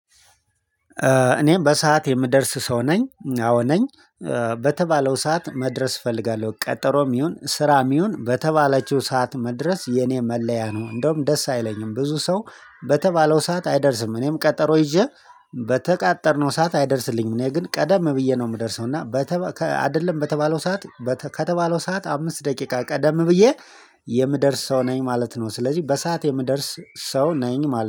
እኔም በሰአት የምደርስ ሰው ነኝ አዎ ነኝ። በተባለው ሰዓት መድረስ እፈልጋለሁ ቀጠሮም ይሁን ስራም ይሁን በተባለችው ሰዓት መድረስ የኔ መለያ ነው። እንደውም ደስ አይለኝም ብዙ ሰው በተባለው ሰዓት አይደርስም እኔም ቀጠሮ ይዤ በተቃጠርነው ሰዓት አይደርስልኝም እኔ ግን ቀደም ብዬ ነው የምደርሰው። እና አይደለም በተባለው ሰዓት። ከተባለው ሰዓት አምስት ደቂቃ ቀደም ብዬ የምደርስ ሰው ነኝ ማለት ነው። ስለዚህ በሰአት የምደርስ ሰው ነኝ ማለት